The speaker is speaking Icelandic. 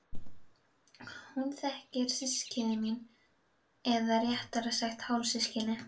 Hún þekkir systkini mín eða réttara sagt hálfsystkini.